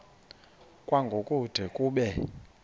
kwango kude kube